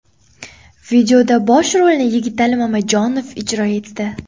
Videoda bosh rolni Yigitali Mamajonov ijro etdi.